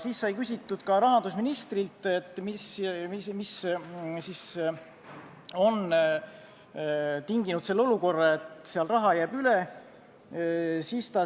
Siis sai küsitud ka rahandusministrilt, mis on tinginud selle olukorra, et seal jääb raha üle.